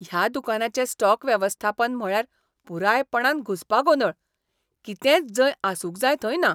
ह्या दुकानाचें स्टॉक वेवस्थापन म्हळ्यार पुरायपणान घुसपागोंदळ. कितेंच जंय आसूंक जाय थंय ना.